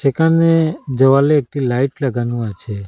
এখানে দেওয়ালে একটি লাইট লাগানো আছে।